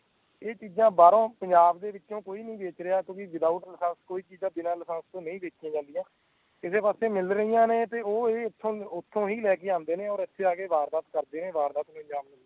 ਕਿ ਇਹ ਚੀਜਾਂ ਬਾਹਰੋਂ ਪੰਜਾਬ ਦੇ ਵਿੱਚੋ ਕੋਈ ਨਹੀਂ ਵੇਚ ਰਹੀਆਂ ਕਿਊ ਕਿ ਵਿਥਾਉਟ ਲੈੱਸ ਕੋਈ ਚੀਜਾਂ ਲੈੱਸ ਤੋਂ ਬਿਨਾਂ ਨਹੀਂ ਵੇਚਿਆ ਜਾਂਦੀਆਂ ਏਦੇ ਪਾਸੇ ਮਿਲ ਰਹੀਆਂ ਨੇ ਓ ਏ ਇਤੋ ਓਥੋਂ ਹੀ ਲੈ ਕੇ ਆਂਦੇ ਨੇ ਇਤੇ ਆਕੇ ਵਾਰਦਾਤ ਨੂੰ ਅੰਜਾਮ ਦਿਂਦੇ ਨੇ